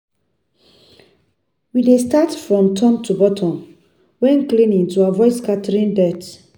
We dey start from top to bottom when cleaning to avoid scattering dirt.